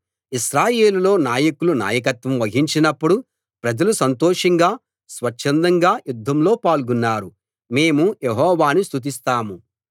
ఇశ్రాయేలులో నాయకులు నాయకత్వం వహించినపుడు ప్రజలు సంతోషంగా స్వచ్ఛందంగా యుద్ధంలో పాల్గొన్నారు మేము యెహోవాను స్తుతిస్తాం